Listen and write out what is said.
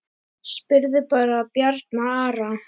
Spurðu bara Bjarna Ara!